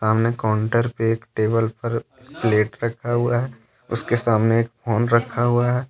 अपने काउंटर पर टेबल पर प्लेट रखा हुआ है उसके सामने फोन रखा हुआ है।